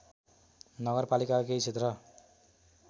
नगरपालिकाका केही क्षेत्र